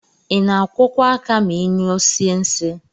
Ina akwọkwa aka ma inyụọsie nsi?